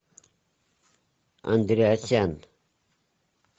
андреасян